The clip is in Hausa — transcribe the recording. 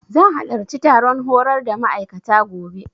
Zan halarci taron horar da ma'aikata, gobe.